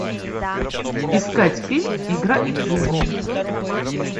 искать фильм игра их жизни